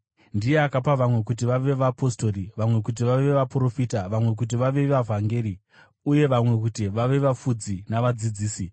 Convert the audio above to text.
Ndiye akapa vamwe kuti vave vapostori, vamwe kuti vave vaprofita, vamwe kuti vave vavhangeri, uye vamwe kuti vave vafudzi navadzidzisi,